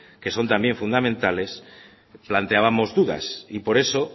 que son también fundamentales planteábamos dudas y por eso